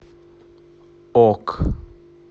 ок